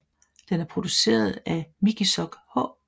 Den er produceret af Mikisoq H